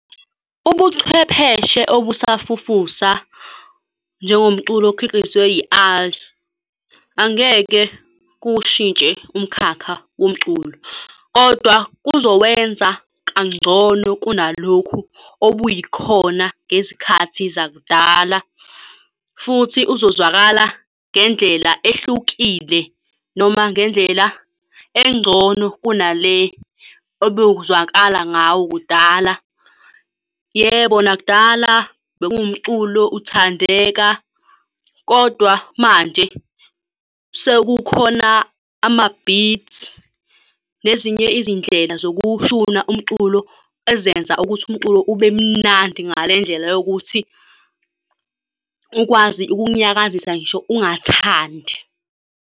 Ubuchwepheshe obusafufusa, njengomculo okhiqizwa angeke kuwushintshe umkhakha womculo, kodwa kuzowenza kangcono kunalokhu obuyikhona ngezikhathi zakudala, futhi uzozwakala ngendlela ehlukile noma ngendlela engcono kunale ebewuzwakala ngawo kudala. Yebo, nakudala bekuwumculo, uthandeka, kodwa manje sekukhona ama-beat nezinye izindlela zokuwushuna umculo ezenza ukuthi umculo ube mnandi ngale ndlela yokuthi ukwazi ukukunyakazisa ngisho ungathandi.